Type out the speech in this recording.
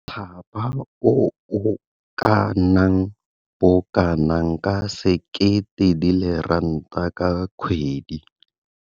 Thapa o o ka nnang bokanaka ka R1 000 ka kgwedi.